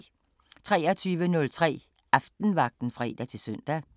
23:03: Aftenvagten (fre-søn)